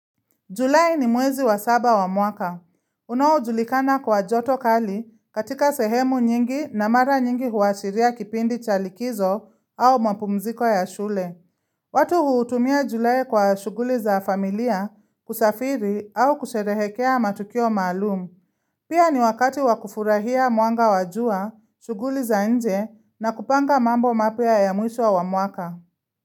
Julai ni mwezi wa saba wa mwaka. Unaojulikana kwa joto kali katika sehemu nyingi na mara nyingi huashiria kipindi chalikizo au mapumziko ya shule. Watu huutumia julai kwa shughuli za familia kusafiri au kusherehekea matukio maalum. Pia ni wakati wakufurahia mwanga wajua, shughuli za nje na kupanga mambo mapya ya mwisho wa mwaka.